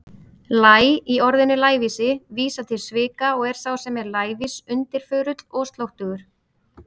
Læ- í orðinu lævísi vísar til svika og er sá sem er lævís undirförull, slóttugur.